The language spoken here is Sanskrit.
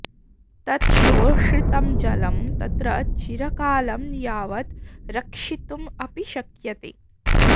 तत् शोषितं जलं तत्र चिरकालं यावत् रक्षितुम् अपि शक्यते